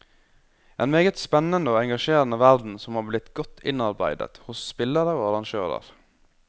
En meget spennende og engasjerende verden som har blitt godt innarbeidet hos spillere og arrangører.